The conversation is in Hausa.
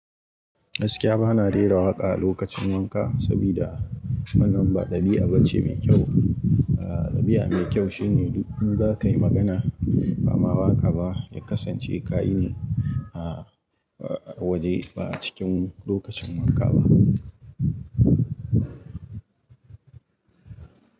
Gaskiya bana rera waƙa a lokacin wanka saboda wannan ba ɗabi'a bace mai kyau. Ahhh ɗabi'a mai kyau shine duk in zakai magana ba ma waka ba ya kasance kayine ahhh waje ba a cikin lokacin wanka ba.